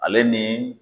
Ale ni